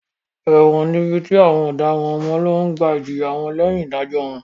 Ẹ̀wọ̀n ni ibi tí àwọn ọ̀daràn máa ń lọ gbà ìjìyà wọn lẹ́yìn ìdájọ́ wọn.